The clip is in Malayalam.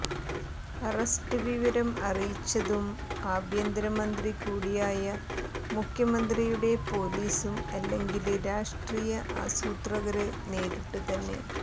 അറസ്റ്റ് വിവരം അറിയിച്ചതും ആഭ്യന്തര മന്ത്രി കൂടിയായ മുഖ്യമന്ത്രിയുടെ പോലീസും അല്ലെങ്കില് രാഷ്ട്രീയ ആസൂത്രകര് നേരിട്ടുതന്നെ